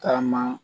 Taama